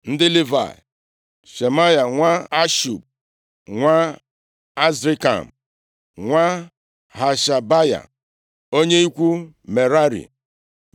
Ndị Livayị: Shemaya nwa Hashub, nwa Azrikam, nwa Hashabaya onye ikwu Merari.